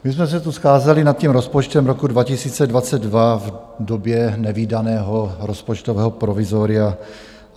My jsme se tu scházeli nad tím rozpočtem roku 2022 v době nevídaného rozpočtového provizoria.